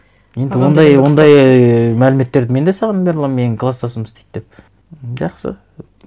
енді ондай мәліметтерді мен де саған бере аламын менің класстасым істейді деп жақсы